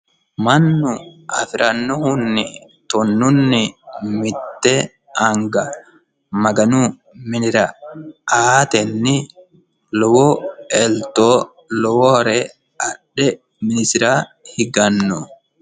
mannu afirannohunni tonnunni mitte anga maganu minira aatenni lowo elto lowore adhe minisira higanno.